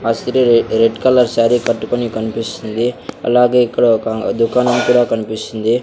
అసిరరే red colour sari కట్టుకుని కనిపిస్తుంది అలాగే ఇక్కడ ఒక దుకాణం కూడా కనిపిస్తుంది.